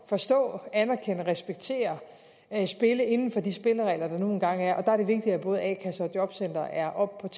forstå anerkende respektere spillet inden for de spilleregler der nu engang er og det vigtigt at både a kasser og jobcentre er oppe